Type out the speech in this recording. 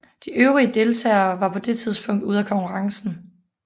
De øvrige deltagere var på det tidspunkt ude af konkurrencen